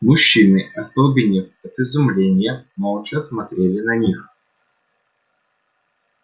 мужчины остолбенев от изумления молча смотрели на них